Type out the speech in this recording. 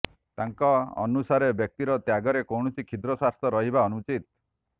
ତାଙ୍କ ଅନୁସାରେ ବ୍ୟକ୍ତିର ତ୍ୟାଗରେ କୌଣସି କ୍ଷୁଦ୍ର ସ୍ୱାର୍ଥ ରହିବା ଅନୁଚିତ